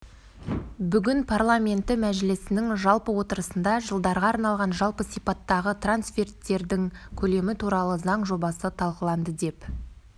бүгін парламенті мәжісілінің жалпы отырысында жылдарға арналған жалпы сипаттағы трансферттердің көлемі туралы заң жобасы талқыланды деп